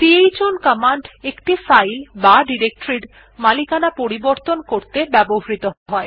chown command একটি file বা directory এর মালিকানা পরিবর্তন করতে ব্যবহৃহ হয়